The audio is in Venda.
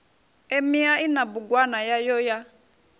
emia ina bugwana yayo ya